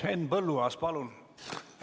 Henn Põlluaas, palun!